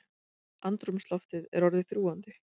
Andrúmsloftið er orðið þrúgandi.